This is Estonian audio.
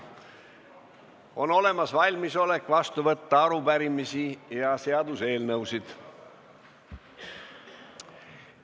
On olemas valmisolek vastu võtta arupärimisi ja seaduseelnõusid.